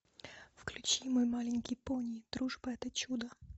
включи мой маленький пони дружба это чудо